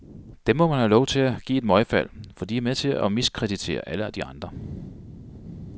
Dem må man have lov til at give et møgfald, for de er med til at miskreditere alle de andre.